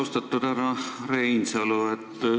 Austatud härra Reinsalu!